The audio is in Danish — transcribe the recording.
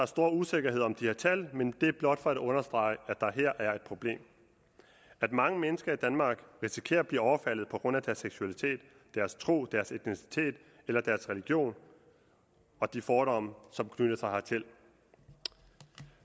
stor usikkerhed om de her tal men det er blot for at understrege at der her er et problem mange mennesker i danmark risikerer at blive overfaldet på grund af deres seksualitet deres tro deres etnicitet eller deres religion og de fordomme som knytter sig hertil